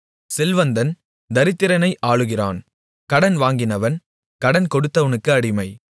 செல்வந்தன் தரித்திரனை ஆளுகிறான் கடன் வாங்கினவன் கடன் கொடுத்தவனுக்கு அடிமை